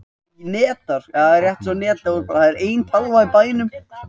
Þessar vel þekktu reglur eru kallaðar víxl- og tengiregla samlagningar.